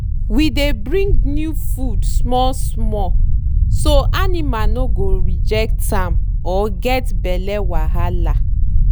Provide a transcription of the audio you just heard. we dey bring new feed small-small so animal no go reject am or get belle wahala.